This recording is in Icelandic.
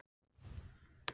Haukur: Og hérna eru?